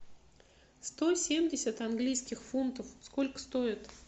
сто семьдесят английских фунтов сколько стоит